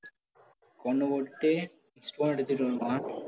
கொன்னு போட்டுட்டு stone எடுத்திட்டு வந்துருவான்